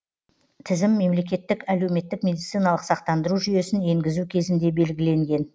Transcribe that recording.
тізім мемлекеттік әлеуметтік медициналық сақтандыру жүйесін енгізу кезінде белгіленген